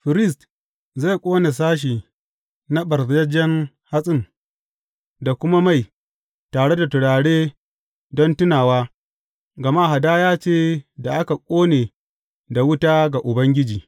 Firist zai ƙone sashe na ɓarzajjen hatsin da kuma mai, tare da turare don tunawa, gama hadaya ce da aka ƙone da wuta ga Ubangiji.